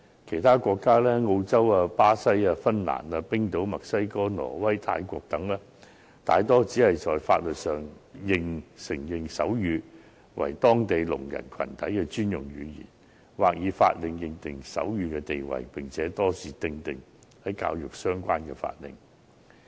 其他國家，例如澳洲、巴西、芬蘭、冰島、墨西哥、挪威、泰國等，大多只在法律上承認手語為當地聾人群體的專用語言，或以法令確定手語的地位，並且多是透過與教育相關的法令來確定。